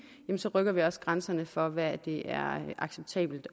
rykker vi også grænserne for hvad det er acceptabelt